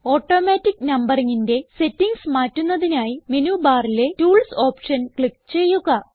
automatic numberingന്റെ settings മാറ്റുന്നതിനായി menu ബാറിലെ ടൂൾസ് ഓപ്ഷൻ ക്ലിക്ക് ചെയ്യുക